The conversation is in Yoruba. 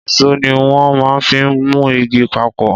Ìsó ni wọn má n fi mu igi papọ̀